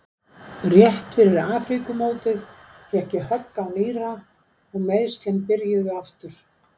Rétt fyrir Afríkumótið fékk ég högg á nýra og meiðslin byrjuðu aftur.